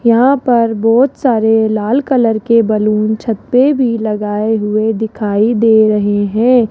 यहां पर बहोत सारे लाल कलर के बैलून छत पर भी लगाए हुए दिखाई दे रहे हैं।